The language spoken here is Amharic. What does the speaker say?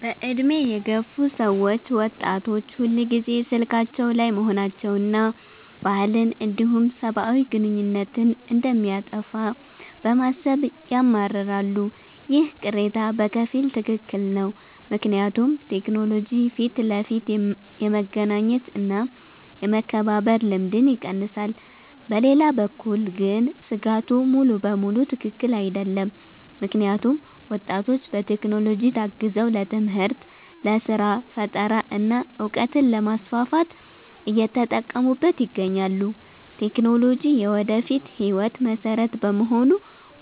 በዕድሜ የገፉ ሰዎች ወጣቶች ሁልጊዜ ስልካቸው ላይ መሆናቸውንና ባህልን እንዲሁም ሰብአዊ ግንኙነትን እንደሚያጠፋ በማሰብ ያማርራሉ። ይህ ቅሬታ በከፊል ትክክል ነው፤ ምክንያቱም ቴክኖሎጂ ፊት ለፊት የመገናኘት እና የመከባበር ልማድን ይቀንሳል። በሌላ በኩል ግን ስጋቱ ሙሉ በሙሉ ትክክል አይደለም፤ ምክንያቱም ወጣቶች በቴክኖሎጂ ታግዘው ለትምህርት፣ ለስራ ፈጠራ እና እውቀትን ለማስፋፋት እየተጠቀሙበት ይገኛሉ። ቴክኖሎጂ የወደፊት ህይወት መሰረት በመሆኑ